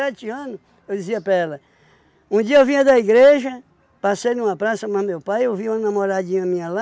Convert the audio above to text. ano? Eu dizia para ela, um dia eu vinha da igreja, passei numa praça mais meu pai, eu vi uma namoradinha minha lá,